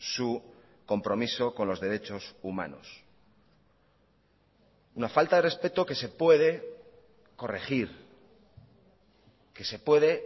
su compromiso con los derechos humanos una falta de respeto que se puede corregir que se puede